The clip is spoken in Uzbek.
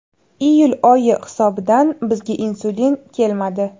Iyul oyi hisobidan bizga insulin kelmadi.